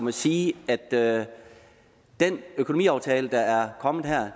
at sige at at den økonomiaftale der er kommet her